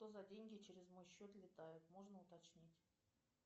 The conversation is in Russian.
что за деньги через мой счет летают можно уточнить